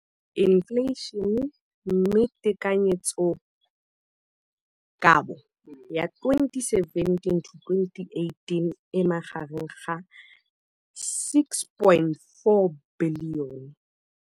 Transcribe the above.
Infleišene, mme tekanyetsokabo ya 2017, 18, e magareng ga R6.4 bilione.